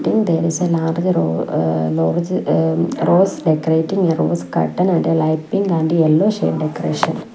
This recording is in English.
then there is a large eh lorge eh rose decorating a rose curtain and a light pink and yellow shade decoration.